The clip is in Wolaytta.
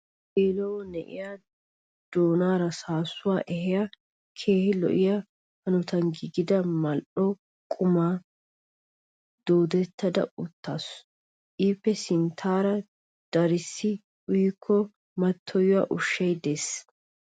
Issi geela"o na'iya doonaara saassuwa ehiya keehi lo'iya hanotan giigida mal"o quman doodettada uttaasu. Ippe sinttaara darissi uyikko mattoyiya ushshay de'es.